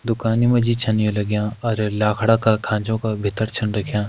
दुकानि मा जी छन ये लाग्यां और लाखड़ा का खांचो का भितर छन रख्यां |